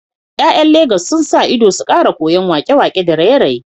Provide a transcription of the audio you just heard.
’Ya’yan Legas sun sa ido su kara koyan wake-wake da raye-raye